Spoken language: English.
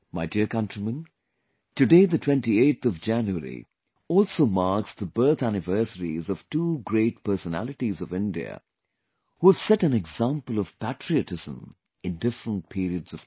My dear countrymen, today the 28th of January also marks the birth anniversaries of two great personalities of India who have set an example of patriotism in different periods of time